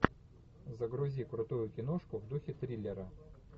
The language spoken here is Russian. загрузи крутую киношку в духе триллера